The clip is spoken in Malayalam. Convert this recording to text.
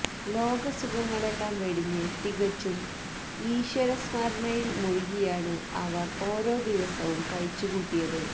ലോകസുഖങ്ങളെല്ലാം വെടിഞ്ഞ് തികച്ചും ഈശ്വരസ്മരണയില് മുഴുകിയാണ് അവര് ഓരോ ദിവസവും കഴിച്ചുകൂട്ടിയത്